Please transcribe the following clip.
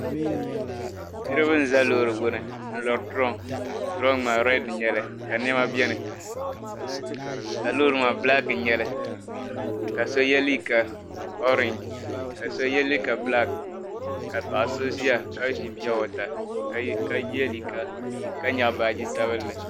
Niriba n-za loori gbuni n-lɔri duroŋ duroŋ maa redi n-nyɛla ka nɛma be dini ka loori maa bilaaki n-nyɛ li ka so ye liiga orangi ka so ye liiga bilaaki ka paɣa so ʒiya ka ʒi piyowata ka ye liiga ka nyaɣi baaji sabinli.